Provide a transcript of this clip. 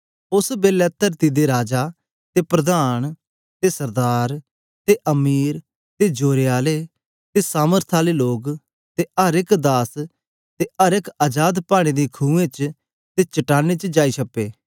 ओस बेलै तरती दे राजा ते प्रधान ते सरदार ते अमीर ते जोरे आले ते सामर्थ आले लोग ते अर एक दास ते अर एक अजाद पाड़ें दी खुएं च ते चट्टानें च जाई छप्पें